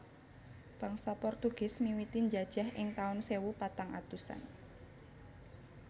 Bangsa Portugis miwiti njajah ing tahun sewu patang atusan